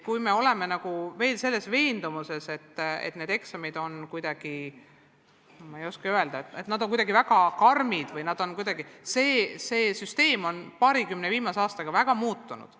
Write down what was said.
Kui oleme ikka veel veendunud, et need eksamid on kuidagi – ma ei oska öelda – väga karmid või nii, siis tuletan meelde, et süsteem on viimase paarikümne aastaga väga palju muutunud.